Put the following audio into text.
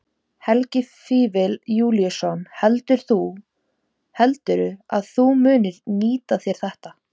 Helgi Vífill Júlíusson: Heldurðu að þú munir nýta þér þetta?